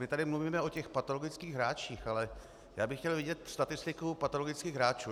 My tady mluvíme o těch patologických hráčích, ale já bych chtěl vidět statistiku patologických hráčů.